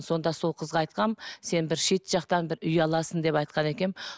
сонда сол қызға айтқанмын сен бір шет жақтан бір үй аласың деп айтқан екенмін